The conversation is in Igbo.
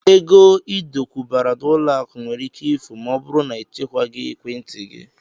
Ego Ị dokwubara n'ụlọakụ nwere ike ifu ma ọ bụrụ na ị chekwaghị ekwentị gị